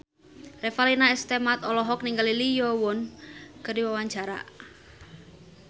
Revalina S. Temat olohok ningali Lee Yo Won keur diwawancara